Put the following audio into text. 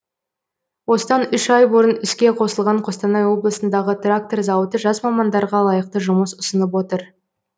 осыдан үш ай бұрын іске қосылған қостанай облысындағы трактор зауыты жас мамандарға лайықты жұмыс ұсынып отыр